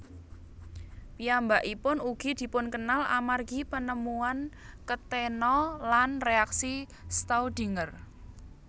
Piyambakipun ugi dipunkenal amargi penemuan ketena lan reaksi Staudinger